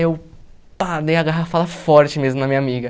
Eu pá dei a garrafada forte mesmo na minha amiga.